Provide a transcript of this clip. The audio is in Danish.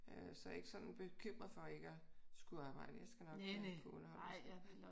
Så jeg er ikke sådan bekymret for ikke at skulle arbejde jeg skal nok kunne underholde mig selv